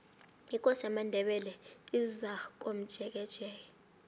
ikosi yamandebele izakomjekejeke